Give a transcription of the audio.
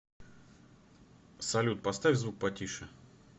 салют поставь звук потише